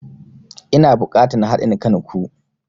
Ina bukatan hadin kan ku.